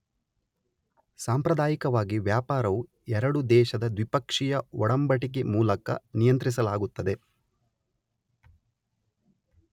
ಸಾಂಪ್ರದಾಯಿಕವಾಗಿ ವ್ಯಾಪಾರವು ಎರಡು ದೇಶದ ದ್ವಿಪಕ್ಷೀಯ ಒಡಂಬಡಿಕೆಮೂಲಕ ನಿಯಂತ್ರಿಸಲಾಗುತ್ತದೆ.